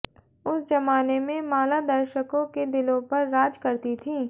उस जमाने में माला दर्शकों के दिलों पर राज करती थीं